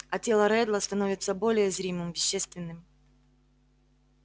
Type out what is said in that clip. а тело реддла становится более зримым вещественным